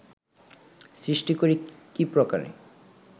সৃষ্টি করি কী প্রকারে